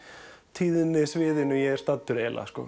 tíðnisviðinu ég er staddur